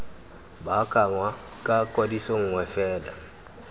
baakanngwa ga kwadiso nngwe fela